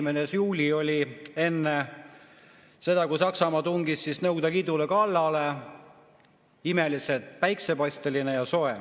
enne seda, kui Saksamaa tungis Nõukogude Liidule kallale, oli imeliselt päiksepaisteline ja soe.